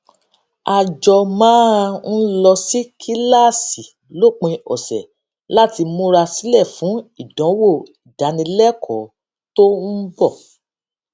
a jọ máa ń lọ sí kíláàsì lópin òsè láti múra sílè fún ìdánwò ìdánilékòó tó ń bò